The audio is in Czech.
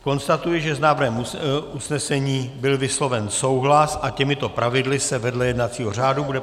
Konstatuji, že s návrhem usnesení byl vysloven souhlas a těmito pravidly se vedle jednacího řádu bude